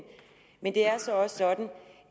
men det er altså også sådan